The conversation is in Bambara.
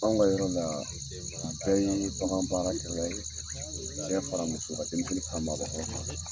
Anw ka yɔrɔ la bɛɛ ye bakan baara kɛ la ye. Cɛ fara muso kan, denmisɛnnin fara maabakɔrɔ kan.